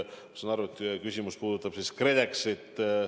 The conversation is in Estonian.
Ma saan aru, et teie küsimus puudutab KredExit.